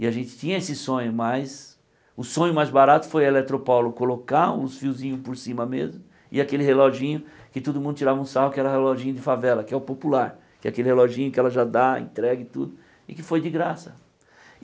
E a gente tinha esse sonho, mas o sonho mais barato foi a Eletropaulo colocar uns fiozinhos por cima mesmo e aquele reloginho que todo mundo tirava um sarro, que era o reloginho de favela, que é o popular, que é aquele reloginho que ela já dá, entrega e tudo, e que foi de graça.